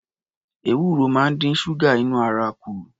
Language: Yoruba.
Ewuro máa ń dín ṣúgà inú ara kù